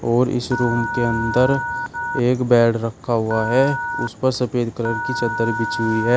और इस रूम के अंदर एक बेड रखा हुआ है उसे पर सफेद कलर की चद्दर बिछी हुई है।